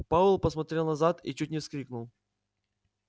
пауэлл посмотрел назад и чуть не вскрикнул